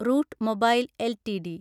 root mobile LTD